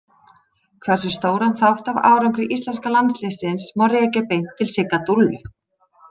Hversu stóran þátt af árangri íslenska landsliðsins má rekja beint til Sigga Dúllu?